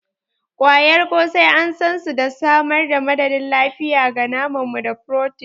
ƙwayar ƙosai an san su da samar da madadin lafiya ga naman mu da furotin.